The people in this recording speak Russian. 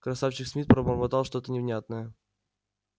красавчик смит пробормотал что то невнятное